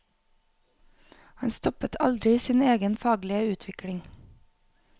Han stoppet aldri sin egen faglige utvikling.